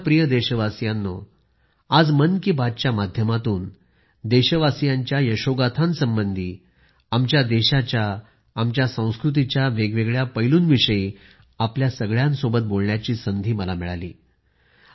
माझ्या प्रिय देशवासियांनो आज मन की बात च्या माध्यमातून देशवासीयांच्या यशोगाथासंबंधी आमच्या देशाच्या आमच्या संस्कृतीच्या वेगवेगळ्या परिमाणावर आपल्या सगळ्यांशी बोलण्याची संधी मिळाली